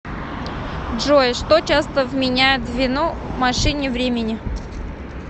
джой что часто вменяют в вину машине времени